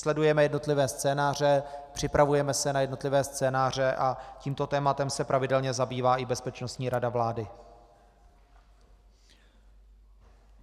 Sledujeme jednotlivé scénáře, připravujeme se na jednotlivé scénáře a tímto tématem se pravidelně zabývá i Bezpečnostní rada vlády.